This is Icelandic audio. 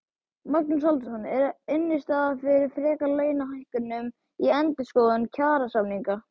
Magnús Halldórsson: Er innstaða fyrir frekari launahækkunum í endurskoðun kjarasamninga?